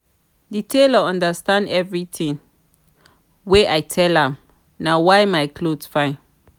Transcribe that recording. the tailor understand everything wey i tell am na why my cloth fine